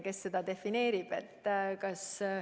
Kes seda defineerib?